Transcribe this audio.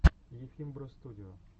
ефим бростудио